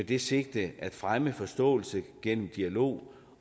det sigte at fremme forståelse gennem dialog